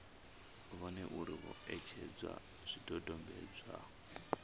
vhone uri vho etshedza zwidodombedzwa